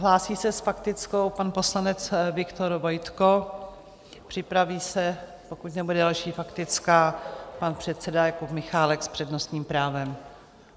Hlásí se s faktickou pan poslanec Viktor Vojtko, připraví se, pokud nebude další faktická, pan předseda Jakub Michálek s přednostním právem.